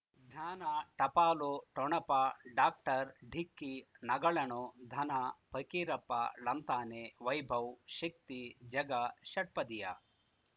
ಜ್ಞಾನ ಟಪಾಲು ಠೊಣಪ ಡಾಕ್ಟರ್ ಢಿಕ್ಕಿ ಣಗಳನು ಧನ ಫಕೀರಪ್ಪ ಳಂತಾನೆ ವೈಭವ್ ಶಕ್ತಿ ಝಗಾ ಷಟ್ಪದಿಯ